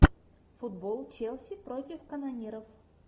футбол челси против канониров